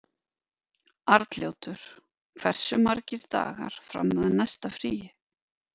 Arnljótur, hversu margir dagar fram að næsta fríi?